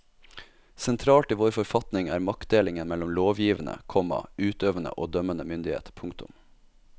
Sentralt i vår forfatning er maktdelingen mellom lovgivende, komma utøvende og dømmende myndighet. punktum